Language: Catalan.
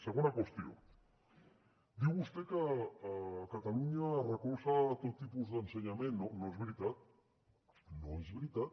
segona qüestió diu vostè que catalunya recolza tot tipus d’ensenyament no és veritat no és veritat